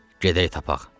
Gedək tapaq.